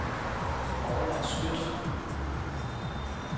Orla Skøtt